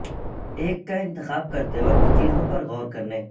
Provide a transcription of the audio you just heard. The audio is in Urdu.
ایک کا انتخاب کرتے وقت چیزوں پر غور کرنے